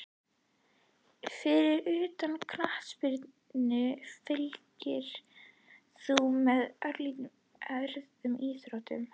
Fyrir utan knattspyrnu, fylgist þú með öðrum íþróttum?